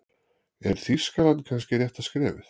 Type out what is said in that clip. Er Þýskaland kannski rétta skrefið?